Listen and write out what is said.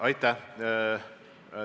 Aitäh!